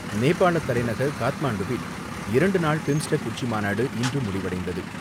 நேபாள தலைநகர் காத்மாண்டுவில் இரண்டு நாள் பிம்ஸ்டெக் உச்சிமாநாடு இன்று முடிவடைந்தது.